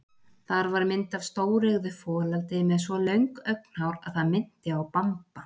Þar var mynd af stóreygðu folaldi með svo löng augnhár að það minnti á Bamba.